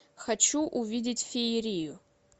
хочу увидеть феерию